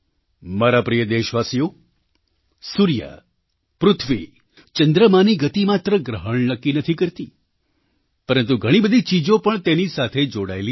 મારા પ્રિય દેશવાસીઓ સૂર્ય પૃથ્વી ચંદ્રમાની ગતિ માત્ર ગ્રહણ નક્કી નથી કરતી પરંતુ ઘણી બધી ચીજો પણ તેની સાથે જોડાયેલી છે